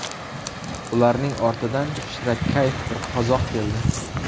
Ularning ortidan shirakayf bir qozoq keldi.